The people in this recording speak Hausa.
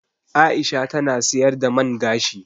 Aisha ta na siyar da man gashi